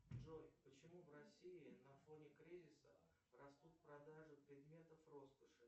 джой почему в россии на фоне кризиса растут продажи предметов роскоши